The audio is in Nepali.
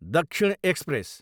दक्षिण एक्सप्रेस